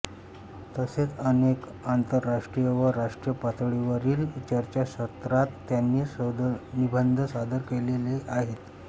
तसेच अनेक आंतरराष्ट्रीय व राष्ट्रीय पातळीवरील चर्चासत्रात त्यांनी शोधनिबंध सादर केलेले आहेत